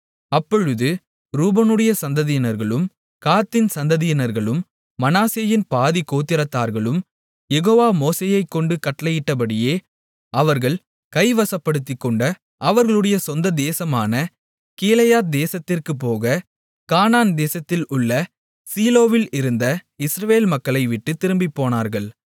அப்பொழுது ரூபனுடைய சந்ததியினர்களும் காத்தின் சந்ததியினர்களும் மனாசேயின் பாதிக் கோத்திரத்தார்களும் யெகோவா மோசேயைக் கொண்டு கட்டளையிட்டபடியே அவர்கள் கைவசப்படுத்திக்கொண்ட அவர்களுடைய சொந்த தேசமான கீலேயாத் தேசத்திற்குப் போக கானான் தேசத்தில் உள்ள சீலோவில் இருந்த இஸ்ரவேல் மக்களைவிட்டுத் திரும்பிப்போனார்கள்